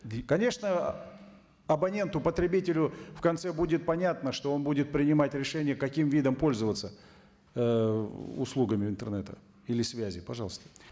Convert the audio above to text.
конечно абоненту потребителю в конце будет понятно что он будет принимать решение каким видом пользоваться ыыы услугами интернета или связи пожалуйста